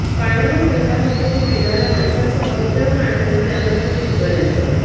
पाण्यावर पहिला हक्क ते पिणाऱया माणसासह इतर प्राण्यांचा त्यानंतर शेतकऱयांचा